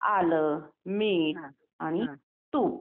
आलं, मीठ आणि तूप